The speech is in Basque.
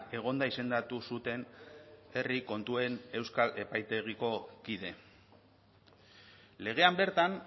egonda izendatu zuten herri kontuen euskal epaitegiko kide legean bertan